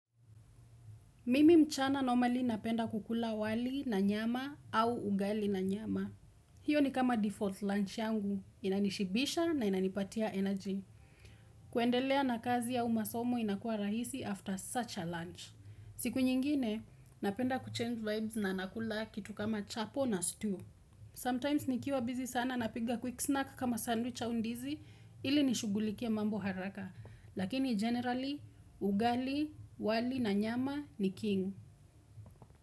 Mimi mchana normally napenda kukula wali na nyama au ugali na nyama. Hiyo ni kama default lunch yangu. Inanishibisha na inanipatia energy. Kuendelea na kazi au masomo inakua rahisi after such a lunch. Siku nyingine, napenda kuchange vibes na nakula kitu kama chapo na stew. Sometimes nikiwa busy sana napiga quick snack kama sandwich au ndizi ili nishughulikie mambo haraka. Lakini generally, ugali, wali na nyama ni king.